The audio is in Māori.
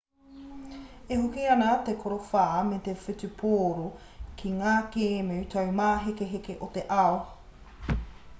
e hoki ana te korowha me te whutupōro ki ngā kēmu taumāhekeheke o te ao